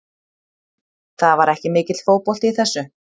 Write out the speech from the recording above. Það var ekki mikill fótbolti í þessu.